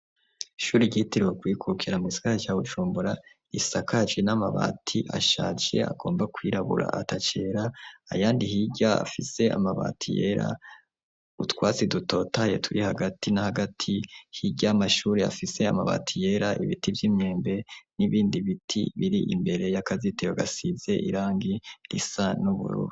Ishuri ryiteriwe kwikukira mu gisagara cya Bucumbura isakagi n'amabati ashace agomba kwirabura atacera ayandi higya afise amabati yera utwasi dutotaye turi hagati n'hagati higya amashuri afise amabati yera ibiti by'imyembe n'ibindi biti biri imbere y'akazitewo gasize irangi risa n'ubururu.